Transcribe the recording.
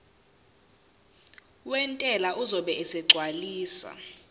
wentela uzobe esegcwalisa